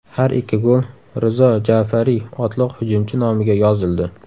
Har ikki gol Rizo Ja’fariy otliq hujumchi nomiga yozildi.